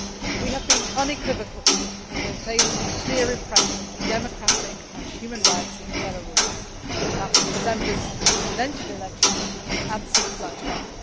We have been unequivocal in the face of clear repression of democratic and human rights in Belarus in last December's presidential elections and since that time.